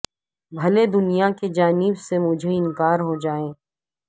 بھلے دنیا کی جانب سے مجھے انکار ہو جائے